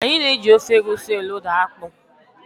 Anyị na eji ofe Egwusi elóda akpụ.